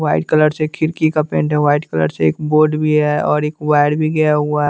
white colour से खिरकी का पेंट है व्हाईट कलर से एक बोर्ड भी है और एक वायर भी गया हुआ --